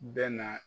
Bɛ na